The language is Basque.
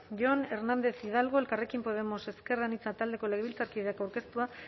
jon hernández hidalgo elkarrekin podemos iu taldeko legebiltzarkideak aurkeztua